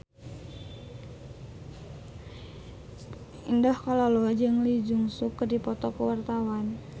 Indah Kalalo jeung Lee Jeong Suk keur dipoto ku wartawan